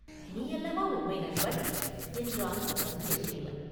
நீ அல்லவா உண்மை நண்பன்!” என்றான் வந்தியத்தேவன்.